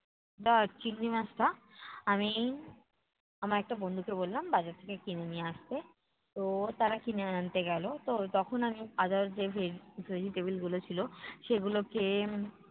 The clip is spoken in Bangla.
চিংড়ি মাছটা আমি আমার একটা বন্ধুকে বললাম বাজার থেকে কিনে নিয়ে আসতে। তো তারা কিনে আনতে গেলো, তো তখন আমি other যে veg~ vegetable গুলো ছিল সেগুলোকে